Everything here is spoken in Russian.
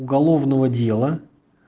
уголовного дела